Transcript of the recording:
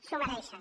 s’ho mereixen